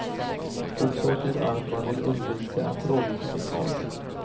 Orsaken är att man vill undvika att radiotrafik störs.